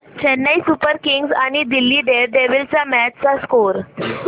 Chennai super kings आणि Delhi Daredevils च्या match चा स्कोअर